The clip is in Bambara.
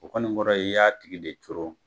O kɔni kɔrɔ ye i y'a tigi de coron.